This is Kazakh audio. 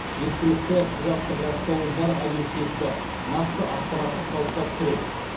жеткілікті құжаттық растауы бар объективті нақты ақпаратты қалыптастыру